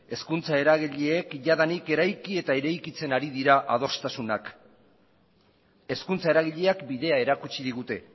hezkuntza eragileek jadanik eraiki eta eraikitzen ari dira adostasunak hezkuntza eragileak bidea erakutsi digute